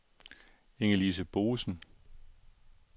Inge-Lise Boesen